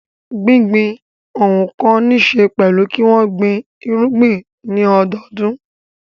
Gbígbin ohun kan níṣe pẹ̀lú kí wọ́n gbin irúgbìn ní ọdọọdún.